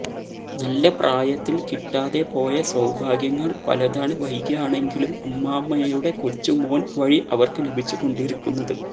നല്ല പ്രായത്തിൽ കിട്ടാതെ പോയ സൌഭാഗ്യങ്ങൾ പലതാണ് വൈകിയാണെങ്കിലും അമ്മാമ്മയുടെ കൊച്ചുമോൻ വഴി അവർക്ക് ലഭിച്ചുകൊണ്ടിരിക്കുന്നത്